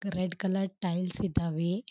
Red colour tiles ಇದ್ದಾವೆ.